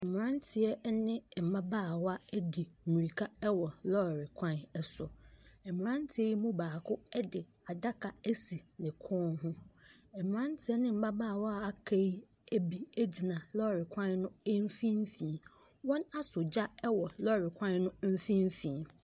Mmeranteɛ ne mmabaawa di mmirika wɔ lɔɔre kwan so. Mmeranteɛ yi mu bako de adaka asi ne kɔn ho. Mmeranteɛ ne mmabaawa a wɔaka yi bi gyina lɔɔre kwan no mfimfini. Wɔasɔ gya wɔ lɔɔre kwan no mfimfini.